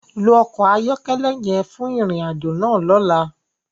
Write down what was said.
Lo ọkọ ayọkẹlẹ yẹn fun irin-ajo náa lọla!